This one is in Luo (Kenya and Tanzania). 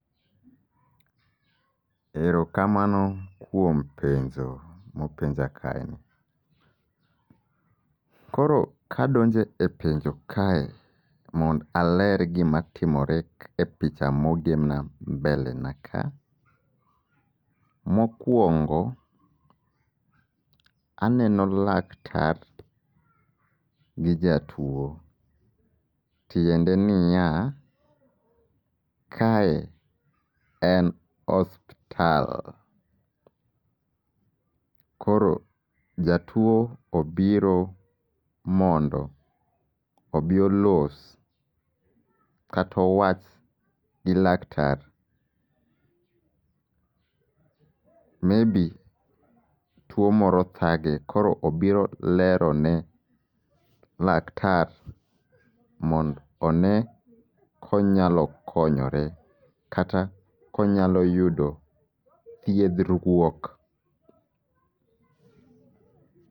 Erokamano kuom penjo mopenja kae ni. Koro kadonje e penjo kae mond aler gima timore e picha mogemna mbele na kae. Mokwongo aneno laktar gi jatuo, tiende niya, kae en ospital. Koro jatuo obiro mondo obi olos katowach gi laktar. Maybe tuo moro thage koro obiro lero ne laktar mond one konyalo konyore, kata konyalo yudo thiedhruok.